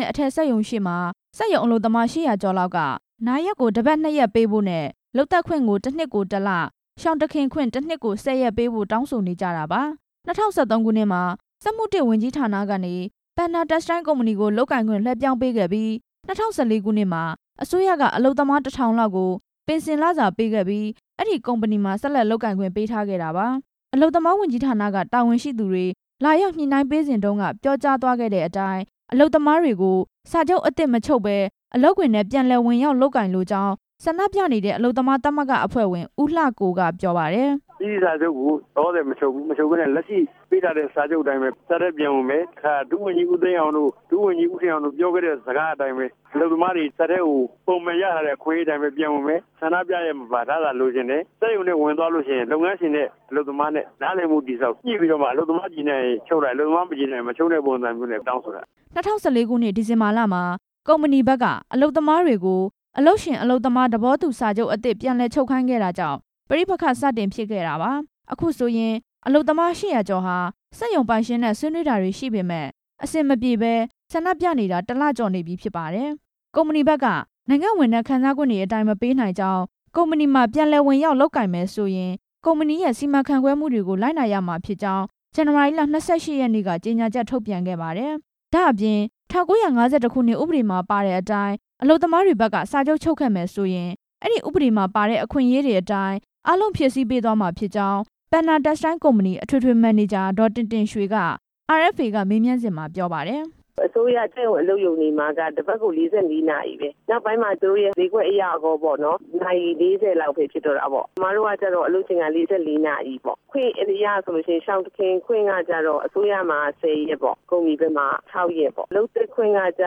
နဲ့ အထည်စက်ရုံရှေ့မှာ စက်ရုံအလုပ်သမား ၈ဝဝ ကျော်လောက်က နားရက်ကို တစ်ပတ် ၂ ရက်ပေးဖို့နဲ့ လုပ်သက်ခွင့်ကို ၁ နှစ်ကို ၁ လ၊ ရှောင်တခင်ခွင့် ၁ နှစ်ကို ၁ဝ ရက်ပေးဖို့ တောင်းဆိုနေကြတာပါ။ ၂ဝ၁၃ ခုနှစ်မှာ စက်မှု ၁ ဝန်ကြီးဌါနကနေ Panda Textile ကုမ္ပဏီကိုလုပ်ကိုင်ခွင့် လွှဲပြောင်းပေးခဲ့ပြီး ၂ဝ၁၄ ခုနှစ်မှာ အစိုးရက အလုပ်သမား ၁ဝဝဝ လောက်ကို ပင်စင်လစာပေးခဲ့ပြီး အဲ့ဒီကုမ္ပဏီမှာ ဆက်လက်လုပ် ကိုင်ခွင့် ပေးထားခဲ့တာပါ။ အလုပ်သမားဝန်ကြီးဌါနက တာဝန်ရှိသူတွေ လာရောက်ညှိနှိုင်းပေးစဉ်တုန်းက ပြောကြားသွားခဲ့တဲ့အတိုင်း အလုပ်သမားတွေကို စာချုပ်အသစ်မချုပ်ပဲ အလုပ်ခွင်ထဲ ပြန်လည်ဝင်ရောက်လုပ်ကိုင်လိုကြောင်း ဆန္ဒပြနေတဲ့ အလုပ်သမားသမဂ္ဂအဖွဲ့ဝင် ဦးလှကိုက ပြောပါတယ်။ စာချပ်ကိုလောလောဆယ် မချုပ်ဘူး၊ လက်ရှိပေးထားတဲ့ စာချုပ်အတိုင်းပဲ စက်ရုံထဲပြန် ဝင်မယ်၊ ဒုဝန်ကြီး ဦးသိန်းအောင်တို့ ဒုဝန်ကြီး ဦးခင်အောင်တို့ ပြောခဲ့တဲ့စကားအတိုင်းပဲ၊ အလုပ်သမားတွေ စက်ရုံထဲကို ပုံမှန်ရထားတဲ့ အခွင့်အရေးအတိုင်းပဲ ပြန်ဝင်မယ်၊ ဆန္ဒပြရက်မပါ လစာလိုချင်တယ်၊ စက်ရုံထဲ ဝင်သွားလို့ရှိရင် လုပ်ငန်းရှင်နဲ့ အလုပ်သမားနဲ့ နားလည်မှုတည်ဆောက် ညှိပြီးတော့မှ အလုပ်သမားကျေနပ်ရင် ချုပ်လိုက် အလုပ်သမားမကျေနပ်ရင် မချုပ်နဲ့ပုံစံမျိုးနဲ့ တောင်းဆိုတာ။ ၂ဝ၁၄ ခုနှစ် ဒီဇင်ဘာလမှာ ကုမ္ပဏီဘက်က အလုပ်သမားတွေကို အလုပ်ရှင်အလုပ်သမား သဘောတူစာချုပ် အသစ် ပြန်လည်ချုပ်ခိုင်းခဲ့တာကြောင့် ပဋိပက္ခစတင်ဖြစ်ခဲ့တာပါ၊ အခုဆိုရင် အလုပ်သမား ၈ဝဝ ကျော်ဟာ စက်ရုံပိုင်ရှင်နဲ့ ဆွေးနွေးတာတွေရှိပေမယ့် အဆင်မပြေပဲ ဆန္ဒပြနေတာ ၁ လကျော်နေပြီဖြစ်ပါတယ်၊ ကုမ္ပဏီ ဘက်က နိုင်ငံ့ဝန်ထမ်းခံစားခွင့်အတိုင်းပဲ ပေးနိုင်ကြောင်း ကုမ္ပဏီမှာပြန်လည် ဝင်ရောက်လုပ်ကိုင်မယ်ဆိုရင် ကုမ္ပဏီရဲ့စီမံခန့်ခွဲမှုကို လိုက်နာရမှာဖြစ်ကြောင်း ဇန်နဝါရီလ ၂၈ ရက်နေ့က ကြေညာချက်ထုတ်ပြန်ခဲ့ပါတယ်၊ ဒါ့အပြင် ၁၉၅၁ ခုနှစ်ဥပဒေမှာပါတဲ့အတိုင်း အလုပ်သမားတွေဘက်က စာချုပ်ချုပ်ခဲ့မယ်ဆိုရင် အဲ့ဒီဥပဒေမှာပါတဲ့ အခွင့်အရေးတွေအတိုင်း အားလုံးဖြည့်ဆည်းပေးသွားမှာဖြစ်ကြောင်း Panda Textile ကုမ္ပဏီ အထွေထွေ မန်နေဂျာ ဒေါ်တင်တင်ရွှေက RFA မေးမြန်းစဉ်မှာ ပြောပါတယ်။ အစိုးရစက်ရုံအလုပ်ရုံတွေမှာက တစ်ပတ်ကို ၄၄ နာရီပဲ၊ နောက်ပိုင်းမှာ သူတို့ ရဲ့ဈေးကွက်အရရောပေါ့နော်၊ နာရီ ၄ဝ လောက်ပဲဖြစ်တော့တာပေါ့၊ ကျမတို့ကတော့ အလုပ်ချိန်က ၄၄ နာရီပေါ့၊ ခွင့်အရဆိုလို့ရှိရင် ရှောင်တခင်ခွင့်ကကျတော့ အစိုးရမှာ ၁ဝ ရက်ပေါ့၊ ကုမ္ပဏီဘက်မှာ ၆ ရက်ပေါ့၊ လုပ်သက်ခွင့် ကကျ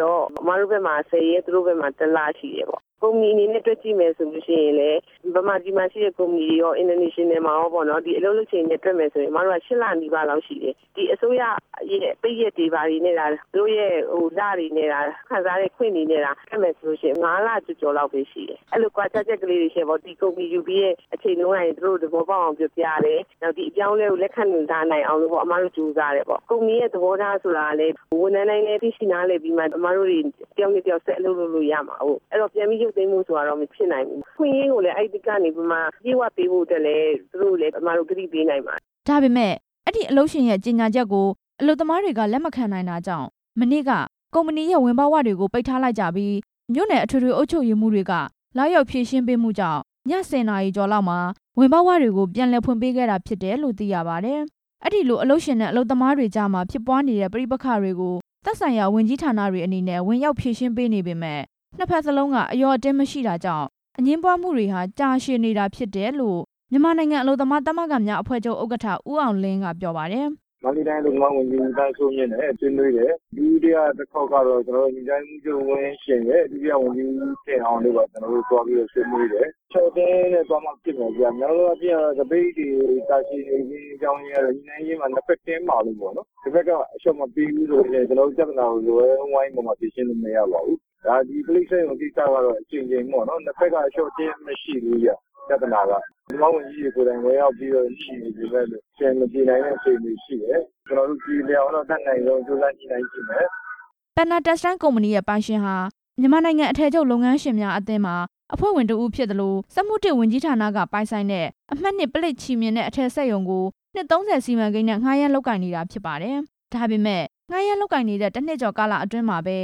တော့ ကျမတို့ဘက်မှာ ၁ဝ ရက် သူတို့ဘက်မှာ ၁ လရှိတယ်ပေါ့၊ ကုမ္ပဏီအနေနဲ့တွက်ကြည့်မယ်ဆိုရင်လည်း ဗမာပြည်မှာရှိတဲ့ကုမ္ပဏီတွေရော နိုင်ငံတကာမှာရောပေါ့နော်၊ ဒီအလုပ်ချိန်နဲ့တွက်နယ်ဆိုရင် ကျမတိုက ၈ လနီး ပါးလောက်ရှိတယ်၊ အစိုးရပိတ်ရက်တွေဘာတွေနဲ့သာ ဒါသူတို့ရဲ့လတွေနဲ့သာ၊ ခံစားခွင့်တွေနဲ့သာ တွက်မယ်ဆို လို့ရှိရင် ၅ လကျော်ကျော်လောက်ပဲရှိတယ်၊ အဲ့လိုကွာခြားချက်လေးတွေ ရှိတယ်ပေါ့၊ ဒီကုမ္ပဏီယူပြီးတဲ့အချိန် ကတည်းက သူတို့သဘောပေါက်အောင် ပြောပြရတယ် နောက်ပြီး ဒီအပြောင်းအလဲကို လက်ခံလာနိုင်အောင်လို့ ကျမတို့ကြိုးစားတယ်ပေါ့၊ ကုမ္ပဏီရဲ့ သဘောထားကလည်း ဝန်ထမ်းတိုင်းလည်းသိရှိနားလည်ပြီးမှ ကျမတို့တွေ တစ်ယောက်နဲ့တစ်ယောက် ဆက်အလုပ်လုပ်လို့ရမှာကိုး၊ အဲ့ဒီတော့ ပြန်ပြီးရုတ်သိမ်းဖို့ဆိုတာက မဖြစ်နိုင်ဘူး၊ အခွင့်အရေးကိုလည်း အဲ့ဒီကနေပြီးမှ အပြည့်အဝပေးဖို့လည်း သူတို့ကိုလည်း ကျမတို့ ကတိပေးနိုင်ပါတယ်။ ဒါပေမယ့် အဲ့ဒီအလုပ်ရှင်ရဲ့ ကြေညာချက်ကို အလုပ်သမားတွေက လက်မခံနိုင်တာကြောင့် မနေ့က ကုမ္ပဏီရဲ့ ဝင်ပေါက်ဝတွေကို ပိတ်ထားလိုက်ကြပြီး မြို့နယ်အထွေထွေ အုပ်ချုပ်ရေးမှူးတွေက လာရောက်ဖြေရှင်းပေး မှုတွေကြောင့် ည ၁ဝ နာရီကျော်လောက်မှာ ဝင်ပေါက်ဝတွေကို ပြန်လည်ဖွင့်ပေးခဲ့တယ်လို့ သိရပါတယ်။ အဲ့ဒီလို အလုပ်ရှင်နဲ့ အလုပ်သမားတွေကြားမှာ ဖြစ်ပွားနေတဲ့ပဋိပက္ခတွေကို သက်ဆိုင်ရာဝန်ကြီးဌါနတွေအနေနဲ့ ဝင်ရောက်ဖြေရှင်းပေးနေပေမယ့် နှစ်ဖက်စလုံးက အလျော့အတင်းမရှိတာကြောင့် အငြင်းပွားမှုတွေဟာ ကြာရှည်နေတာဖြစ်တယ်လို့ မြန်မာနိုင်ငံအလုပ်သမားသမဂ္ဂများ ဥက္ကဌ ဦးအောင်လင်းက ပြောပါတယ်။ မန္တလေးတိုင်း အလုပ်သမားဝန်ကြီး ဦးသန်းစိုးမြင့်နဲ့ ဆွေးနွေးနေတယ်၊ ဒုတိယတစ်ခေါက် ကတော့ ကျနော်တို့ ညွှန်ကြားရေးမှူးချုပ်နဲ့ ဒုတိယဝန်ကြီး ဦးတင်အောင်တို့နဲ့ ကျနော်တို့ သွားဆွေးနွေးတယ်၊ ညှိနှိုင်းရေးမှာ နှစ်ဖက်တင်းမာလို့ပေါ့နော်၊ တစ်ဖက်ကအလျော့မပေးဘူးဆိုရင် ကျနော်တို့ ပြဿနာကို ဝိုင်းဝန်း ပြီးတော့ဖြေရှင်းလို့မရပါဘူး၊ ကျနော်တို့ ပြေလည်အောင်တော့ အတက်နိုင်ဆုံးကြိုးစားညှိနှိုင်းကြည့်မယ်။ Panda Textile ကုမ္ပဏီရဲ့ ပိုင်ရှင်ဟာ မြန်မာနိုင်ငံ အထည်ချုပ်လုပ်ငန်းရှင်များအသင်းမှာ အဖွဲ့ဝင်တစ်ဦးဖြစ်သလို စက်မှု ၁ ဝန်ကြီးဌါနက ပိုင်ဆိုင်တဲ့ အမှတ် ၂ ပလိပ် ချည်မျှင်နဲ့ အထည်ချုပ်စက်ရုံကို နှစ် ၃ဝ စီမံကိန်းနဲ့ ငှားရမ်း လုပ်ကိုင်နေတာဖြစ်ပါတယ်၊ ဒါပေမယ့် ငှားရမ်းလုပ်ကိုင်နေတဲ့ ၁ နှစ်တာကာလအတွင်းမှာပဲ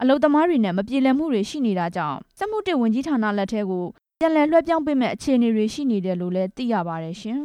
အလုပ်သမားတွေနဲ့ မပြေလည်တာတွေ ရှိနေတာကြောင့် စက်မှု ၁ ဝန်ကြီးဌါနလက်ထဲကို ပြန်လည်လွှဲပြောင်းပေးမယ့် အခြေ အနေတွေရှိနေတယ်လို့လည်း သိရပါတယ်ရှင်။